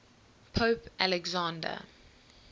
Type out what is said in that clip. pope alexander